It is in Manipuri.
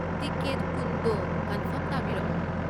ꯇꯤꯀꯦꯠ ꯀꯨꯟꯗꯣ ꯀꯟꯐꯥ꯭ꯔꯝ ꯇꯧꯕꯤꯔꯛꯑꯣ꯫